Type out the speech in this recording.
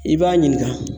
I b'a ɲininka